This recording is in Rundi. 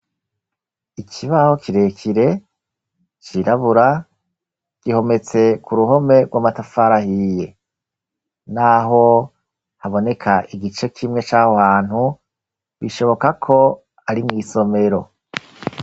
ikibaho kirekire cirabura gihometse ku ruhome rw'amatafara ahiye n'aho haboneka igice kimwe cahohantu bishobokako ari mw'isomero